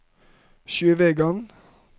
Sjøvegan